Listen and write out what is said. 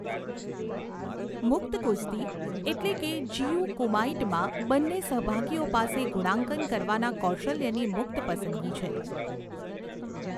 મુક્ત કુસ્તી એટલે કે જીયુ કુમાઇટમાં, બંને સહભાગીઓ પાસે ગુણાંકન કરવાના કૌશલ્યોની મુક્ત પસંદગી છે.